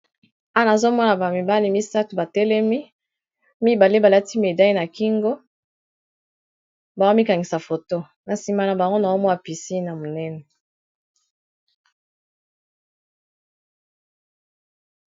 wana azomona bamibali misato batelemi mibale balati medai na kingo baomikangisa foto na nsima na bango no omwa pisi na monene